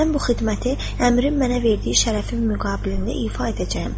Mən bu xidməti Əmirin mənə verdiyi şərəfim müqabilində ifa edəcəyəm.